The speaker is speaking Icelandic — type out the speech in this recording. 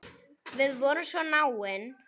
Við vorum svo náin.